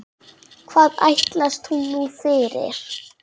Hvað ætlast hún nú fyrir?